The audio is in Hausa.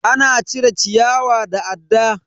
Ana cire ciyawa da adda.